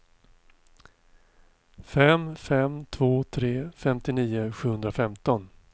fem fem två tre femtionio sjuhundrafemton